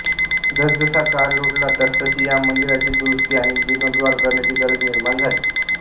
जसजसा काळ लोटला तसतशी या मंदिराची दुरुस्ती आणि जीर्णोद्धार करण्याची गरज निर्माण झाली